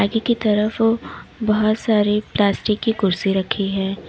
आगे की तरफ बहुत सारी प्लास्टिक की कुर्सी रखी है।